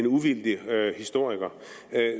uvildig historiker